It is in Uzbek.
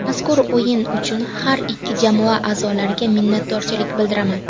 Mazkur o‘yin uchun har ikki jamoa a’zolariga minnatdorchilik bildiraman.